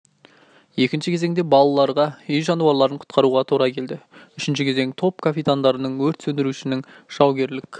екінші кезеңде балаларға үй жануарларын құтқаруға тура келді үшінші кезең топ капитандарының өрт сөндірушінің жаугерлік